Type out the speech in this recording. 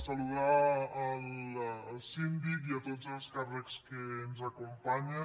saludar el síndic i a tots els càrrecs que ens acompanyen